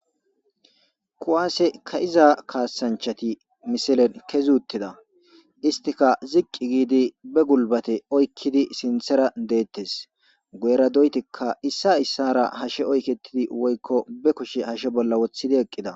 Kuwaase ka7iza kaasanchati misilen kezuttida istika ziqqi giidi be gulbate oykkidi sinthera deettes goera doytikka issa issara hashe oyketidi woykko be kushe hashe bolla woththidi eqqida.